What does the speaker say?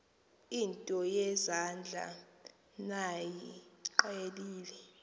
nto yezandla niyiqhelile